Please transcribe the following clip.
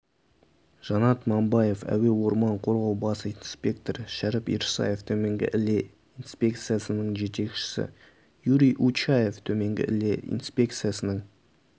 жанат мамбаев әуе орман қорғау бас инспекторы шәріп ирсаев төменгі іле инспекциясының жетекшісі юрий учаев төменгі іле инспекциясының